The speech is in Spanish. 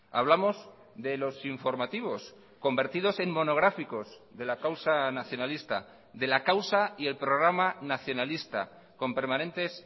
hablamos de los informativos convertidos en monográficos de la causa nacionalista de la causa y el programa nacionalista con permanentes